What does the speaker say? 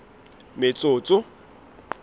metsotso